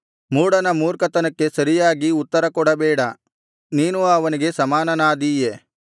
ಮೂಢನ ಮೂರ್ಖತನಕ್ಕೆ ಸರಿಯಾಗಿ ಉತ್ತರ ಕೊಡಬೇಡ ನೀನೂ ಅವನಿಗೆ ಸಮಾನನಾದೀಯೆ